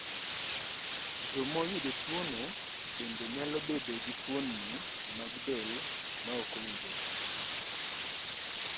Joma oyudo tuwono bende nyalo bedo gi fuoni mag del ma ok owinjore.